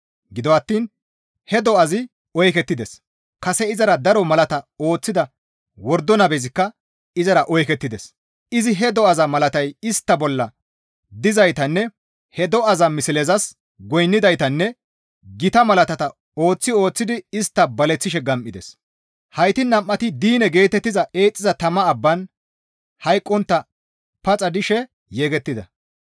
Gido attiin he do7azi oykettides; kase izara daro malaata ooththida wordo nabezikka izara oykettides; izi he do7aza malatay istta bolla dizaytanne he do7aza mislezas goynnidaytanne gita malaatata ooththi ooththidi istta baleththishe gam7ides; heyti nam7ati diine geetettiza eexxiza tama abban hayqqontta paxa dishe yegettida.